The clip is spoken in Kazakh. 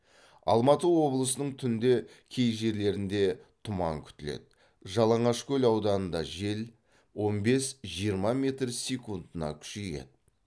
алматы облысының түнде кей жерлерінде тұман күтіледі жалаңашкөл ауданында жел он бес жиырма метр секундына күшейеді